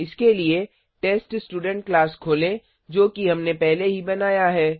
इसके लिए test student class खोलें जो कि हमने पहले ही बनाया है